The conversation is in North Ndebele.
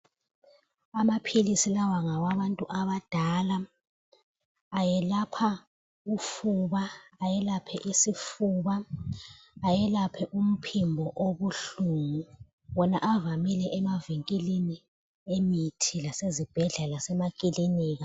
Amaphilisi lawa ngawabantu abadala. Ayelapha ufuba, ayelaphe isifuba, ayelaphe umphimbo obuhlungu. Wona avamile emavinkilini emithi lasezibhedlela lasemakilinika.